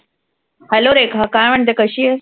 hello Rekha काय म्हणते? कशी आहेस?